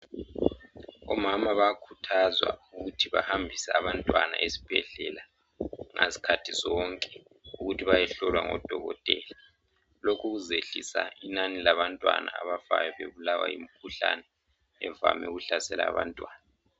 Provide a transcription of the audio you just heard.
Omama bayakhuthazwa ukuthi bahambise abantwana esibhedlela ngazikhathi zonke ukuthi bayehlowa ngodokotela. Lokhu kuzehlisa inani labantwana abafayo bebulawa yimikhuhlane evame ukuhlasela abantwana